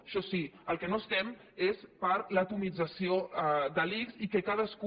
això sí pel que no estem és per l’atomització de l’ics i que cadascú